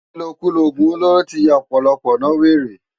Ilókúló ógún ólóró ti yá òpòlòpò no wéré